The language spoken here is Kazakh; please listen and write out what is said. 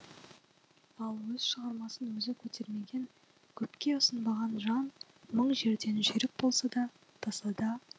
ал өз шығармасын өзі көтермеген көпке ұсынбаған жан мың жерден жүйрік болса да тасада